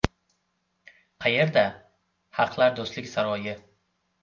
Qayerda: Xalqlar do‘stligi saroyi.